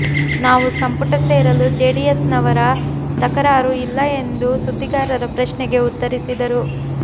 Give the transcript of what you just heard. ನಾವು ಸಂಪುಟ ಸೇರಲು ಜೆಡಿಎಸ್ನವರ ತಕರಾರು ಇಲ್ಲ ಎಂದು ಸುದ್ದಿಗಾರರ ಪ್ರಶ್ನೆಗೆ ಉತ್ತರಿಸಿದರು